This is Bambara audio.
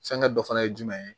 Fɛnkɛ dɔ fana ye jumɛn ye